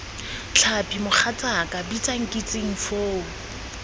tlhapi mogatsaaka bitsa nkitsing foo